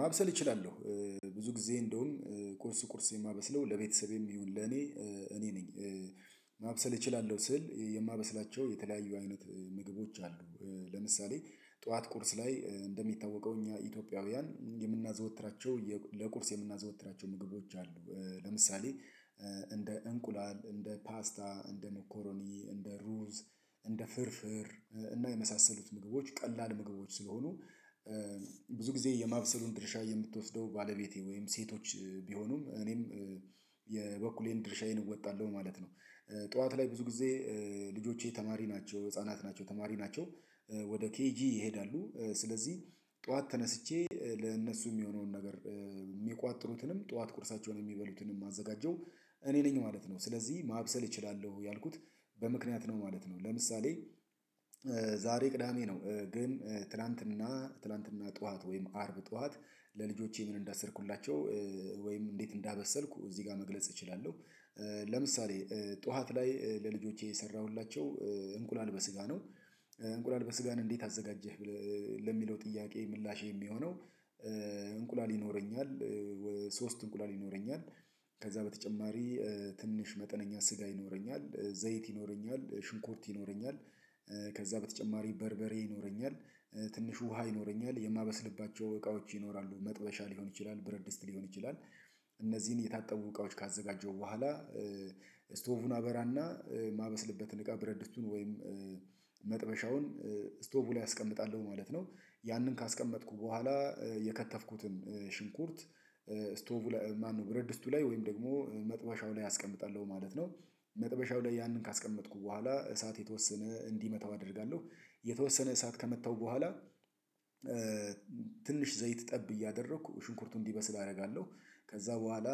ማብሰል እችላለሁ ብዙ ጊዜ እንደውም ቁርስ ቁርስ የማበስለው ለቤተሰቤም ይሁን ለኔ እኔ ነኝ። ማብሰል እችላለሁ ስል የማበስላቸው የተለያዩ አይነት ምግቦች አሉ ለምሳሌ ጠዋት ቁርስ ላይ እንደሚታወቀው እኛ ኢትዮጵያውያን የምናዘወትራቸው ለቁርስ የምናዘወትራቸው ምግቦች አሉ ለምሳሌ እንደ እንቁላል፥ እንደ ፓስታ፥ እንደ ሞኮሮኒ እንደ ሩዝ ፥እንደ ፍርፍር እና የመሳሰሉት ምግቦች ቀላል ምግቦች ስለሆኑ ብዙ ጊዜ የማብሰሉን ድርሻ የምትወስደው ባለቤቴ ወይም ሴቶች ቢሆኑም እኔም የበኩሌን ድርሻዬን እወጣለሁ ማለት ነው። ጠዋት ላይ ብዙ ጊዜ ልጆቼ ተማሪ ናቸው ህፃናት ናቸው ተማሪ ናቸው ወደ ኬጂ ይሄዳሉ ስለዚህ ጠዋት ተነስቼ ለእነሱ የሚሆነውን ነገር የሚቋጥሩትንም ጠዋት ቁርሳቸውን የሚበሉትን የማዘጋጀው እኔ ነኝ ማለት ነው ስለዚህ ማብሰል እችላለሁ ያልኩት በምክንያት ነው ማለት ነው ለምሳሌ ዛሬ ቅዳሜ ነው ግን ትላንትና ትላንትና ጠዋት ወይም አርብ ጠዋት ለልጆቼ ምን እንዳሰርኩላቸው ወይም እንዴት እንዳበሰልኩ እዚህ ጋር መግለጽ እችላለሁ። ለምሳሌ ጠዋት ላይ ለልጆቼ የሰራሁላቸው እንቁላል በስጋ ነው እንቁላል በስጋን እንዴት አዘጋጀህ ለሚለው ጥያቄ ምላሽ የሚሆነው እንቁላል ይኖረኛል ሶስት እንቁላል ይኖረኛል ፥ከዛ በተጨማሪ ትንሽ መጠነኛ ስጋ ይኖረኛል፥ ዘይት ይኖረኛል፥ ሽንኩርት ይኖረኛል ከዛ በተጨማሪ በርበሬ ይኖረኛል ፥ትንሽ ውሃ ይኖረኛል ፥የማበስልባቸው እቃዎች ይኖራሉ ፥መጥበሻ ሊሆን ይችላል ብረት ድስት ሊሆን ይችላል እነዚህን የታጠቡ እቃዎች ካዘጋጀው በኋላ ስቶቭን አበራና ማበስልበትን እቃ ብረድስቱን ወይም መጥበሻውን ስቶቭ ላይ አስቀምጣለሁ ማለት ነው ያንን ካስቀመጥኩ በኋላ የከተፍኩትን ሽንኩርት ስቶቭ ማነው ብርድ ስቱ ላይ ወይም ደግሞ መጥበሻው ላይ አስቀምጣለሁ ማለት ነው መጥበሻው ላይ ያንን ካስቀመጥኩ በኋላ እሳት የተወሰነ እንዲመታው አደርጋለሁ የተወሰነ እሳት ከመተው በኋላ ትንሽ ዘይት ጠብ እያደረኩ ሽንኩርቱን እንዲበስል አደርጋለሁ ከዛ በኋላ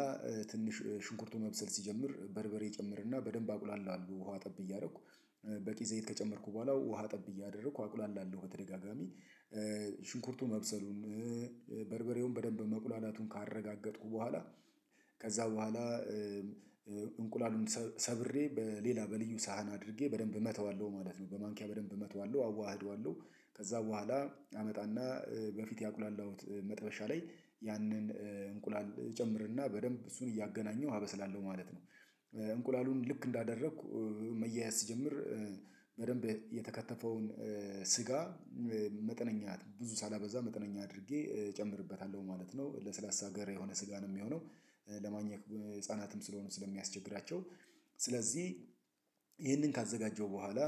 ትንሽ ሽንኩርቱን መብሰል ሲጀምር በርበሬ ይጨምርና በደንብ አቁላላለው ውሃ ጠብ እያደረኩ በቂ ዘይት ከጨመርኩ በኋላ ውሃ ጠብ እያደረኩ አቁላ ላለው ወደ በተደጋጋሚ ሽንኩርቱ መብሰሉን በርበሬውን በደንብ መቁላላቱን ካረጋገጥኩ በኋላ ከዛ በኋላ እንቁላሉን ሰብሬ በሌላ በልዩ ሳህን አድርጌ በደንብ እመተዋለሁ ማለት ነው በማንኪያ በደንብ እመጣዋለሁ አዋህዷለሁ ከዛ በኋላ አመጣና በፊት ያቁላላሁት መጠበሻ ላይ ያንን እንቁላል ጨምርና በደንብ እሱን እያገናኘሁ አበስላለሁ ማለት ነው እንቁላሉን ልክ እንዳደረኩ መያያዝ ስጀምር በደንብ የተከተፈውን ስጋ መጠነኛ ብዙ ሳላበዛ መጠነኛ አድርጌ እጨምርበታለሁ ማለት ነው ለስላሳ ጋር የሆነ ስጋ ነው የሚሆነው ለማኘክ ህፃናትም ስለሆኑ ስለሚያስቸግራቸው ስለዚህ ካዘጋጀው በኋላ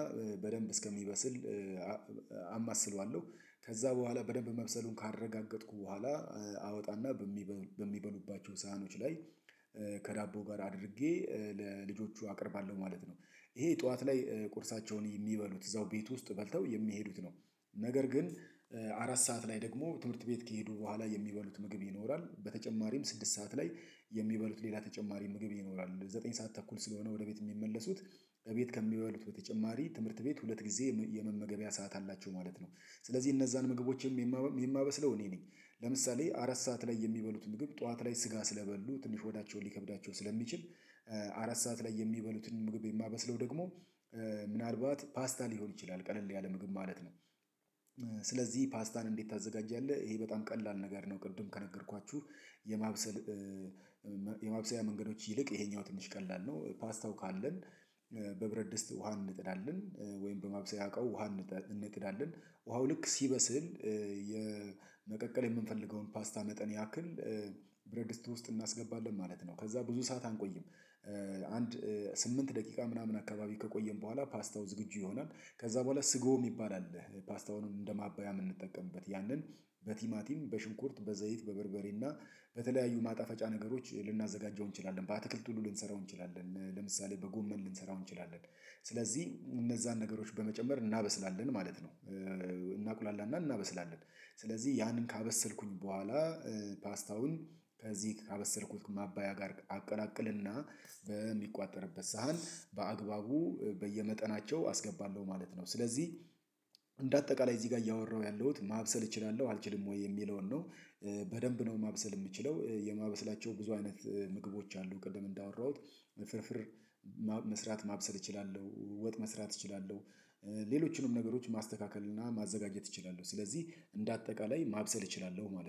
በደንብ እስከሚበስል አማስለዋለሁ ከዛ በኋላ በደንብ መብሰሉን ካረጋገጥኩ በኋላ አወጣና በሚበሉባቸው ሳህኖች ላይ ከዳቦ ጋር አድርጌ ለልጆቹ አቀርባለሁ ማለት ነው ይሄ ጠዋት ላይ የሚበሉት እዛው ቤት ውስጥ በልተው የሚሄዱት ነው ነገር ግን አራት ሰዓት ላይ ደግሞ ትምህርት ቤት ከሄዱ በኋላ የሚበሉት ምግብ ይኖራል በተጨማሪም ስድስት ሰዓት ላይ የሚበሉት ሌላ ተጨማሪ ምግብ ይኖራል ዘጠኝ ሰዓት ተኩል ስለሆነ ወደ ቤት የሚመለሱት በቤት ከሚሆኑት በተጨማሪ ትምህርት ቤት ሁለት ጊዜ የመመገቢያ ሰዓት አላቸው ማለት ነው ስለዚህ እነዛን ምግቦችም የማበስለው እኔ ነኝ ለምሳሌ አራት ሰዓት ላይ የሚበሉት ምግብ ጠዋት ላይ ስጋ ስለበሉ ትንሽ ወዳቸውን ሊከብዳቸው ስለሚችል አራት ሰዓት ላይ የሚበሉትን ምግብ የማበስለው ደግሞ ምናልባት ፓስታ ሊሆን ይችላል ቀለል ያለ ምግብ ማለት ነው ስለዚህ ፓስታን እንዴት ታዘጋጃለህ ይሄ በጣም ቀላል ነገር ነው ቅዱም ከነገርኳችሁ የማብሰል የማብሰያ መንገዶች ይልቅ ይሄኛው ትንሽ ቀላል ነው ፓስታው ካለን በብረት ድስት ውሃ እንነጥዳለን ወይም በማብሰያ ውሃ እንነጥዳለን ውሃው ልክ ሲበስል የመቀቀል የምንፈልገውን ፓስታ መጠን ያክል በብረድስት ውስጥ እናስገባለን ማለት ነው ከዛ ብዙ ሰዓት አንቆይም አንድ ስምንት ደቂቃ ምናምን አካባቢ ከቆየን በኋላ ፓስትው ዝግጁ ይሆናል ከዛ በኋላ ስጎ የሚባል አለ ፓስታውን እንደማባያም እንጠቀምበት ያንን በቲማቲም፥ በሽንኩርት፥ በዘይት በበርበሬና በተለያዩ ማጣፈጫ ነገሮች ልናዘጋጀው እንችላለን። በአትክልት ሁሉ ልንሰራው እንችላለን ለምሳሌ በጎመን ልንሰራው እንችላለን ስለዚህ እነዛን ነገሮች በመጨመር እናበስላለን ማለት ነው እናቁላላና እናበስላለን ስለዚህ ያንን ካበሰልኩኝ በኋላ ፓስት አውን ከዚህ ካበሰልኩት ማባያ ጋር አቀላቀልና በሚቋጠርበት ሳህን በአግባቡ በየመጠናቸው አስገባለሁ ማለት ነው ስለዚህ እንደ አጠቃላይ እዚህ ጋር እያወራሁ ያለሁት ማብሰል እችላለሁ አልችልም ወይ የሚለውን ነው በደንብ ነው ማብሰል የምችለው የማበስላቸው ብዙ አይነት ምግቦች አሉ ቅድም እንዳወራሁት ፍርፍር መስራት ማብሰል እችላለሁ፥ ወጥ መስራት እችላለሁ ሌሎችንም ነገሮች ማስተካከል ምናምን ማዘጋጀት እችላለሁ ስለዚህ እንደ አጠቃላይ ማብሰል እችላለሁ ማለት ነው።